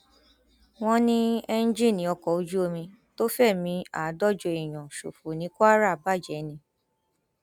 wọn ní ẹńjìnnì ọkọ ojú omi tó fẹmí àádọjọ èèyàn ṣòfò ní kwara bàjẹ ni